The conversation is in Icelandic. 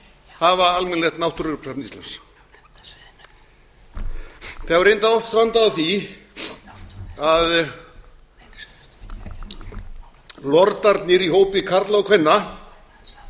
hafa almennilegt náttúrugripasafn íslands það hefur reyndar strandað á því að lordarnir í hópi karla og kvenna